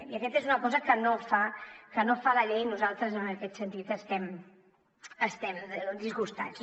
i aquesta és una cosa que no fa la llei i nosaltres en aquest sentit estem disgustats